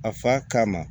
A fa kama